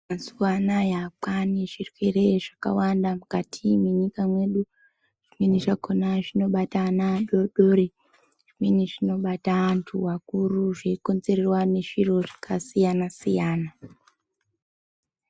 Mazuva anaya kwaane zvirwere zvakawanda mukati mwenyika yedu, zvimweni zvakona zvinobata ana adoodori zvimweni zvinobata antu akuru zveikonzerwa nezviro zvakasiyana siyana.